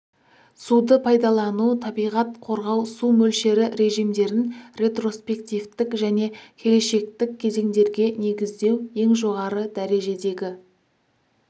суды пайдалану табиғат қорғау су мөлшері режимдерін ретроспективтік және келешектік кезеңдерге негіздеу ең жоғары дәрежедегі